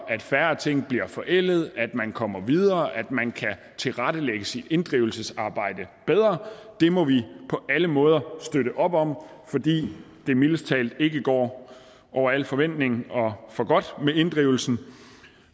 at færre ting bliver forældede at man kommer videre at man kan tilrettelægge sit inddrivelsesarbejde bedre det må vi på alle måder støtte op om fordi det mildest talt ikke går over al forventning og for godt med inddrivelsen